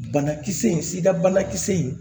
Banakisɛ in sida bana kisɛ in